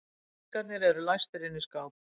Peningarnir læstir inni í skáp.